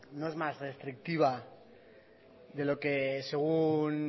no es más restrictiva de lo que según